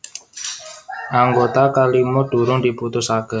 Anggota kalima durung diputusaké